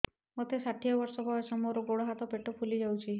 ମୋତେ ଷାଠିଏ ବର୍ଷ ବୟସ ମୋର ଗୋଡୋ ହାତ ପେଟ ଫୁଲି ଯାଉଛି